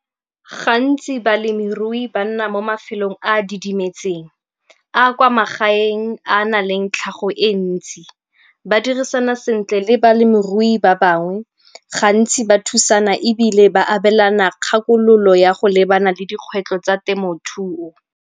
Gantsi balemirui ba nna mo mafelong a a didimetseng, a a kwa magaeng a na leng tlhago e ntsi. Ba dirisana sentle le balemirui ba bangwe, gantsi ba thusana ebile ba abelana kgakololo ya go lebana le dikgwetlho tsa temothuo.